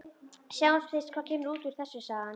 Sjáum fyrst hvað kemur út úr þessu, sagði hann.